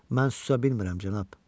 Mən susa bilmirəm, cənab.